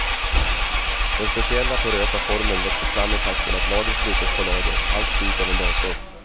Den speciella porösa formen växer fram i takt med att lager sprutas på lager, allt styrt av en dator.